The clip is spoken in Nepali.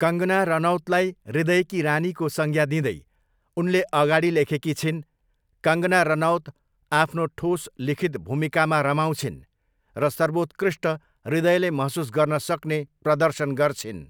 कङ्गना रनौतलाई 'हृदयकी रानी'को संज्ञा दिँदै उनले अगाडि लेखेकी छिन्, 'कङ्गना रनौत आफ्नो ठोस लिखित भूमिकामा रमाउँछिन्, र सर्वोत्कृष्ट, हृदयले महसुस गर्न सक्ने प्रदर्शन गर्छिन्'।